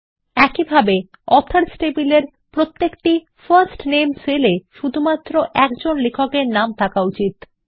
একইভাবে অথর্স টেবিলের প্রত্যেকটি ফার্স্ট নামে সেল এ শুধুমাত্র একজন লেখক এর প্রথম নাম থাকা উচিত